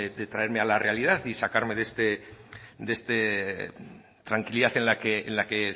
de traerme a la realidad y sacarme de esta tranquilidad en la que